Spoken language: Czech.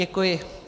Děkuji.